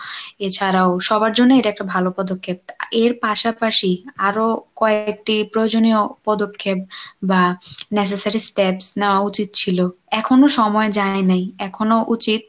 এছাড়ও সবার জন্য এটা একটা ভালো পদক্ষেপ এর পাশাপাশি আরো কয়কটি প্রয়জনীয় পদক্ষেপ বা necessary steps নেওয় উচিত ছিল, এখনো সময় যায় নাই এখনো উচিত।